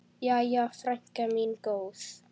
Jæja, frænka mín góð.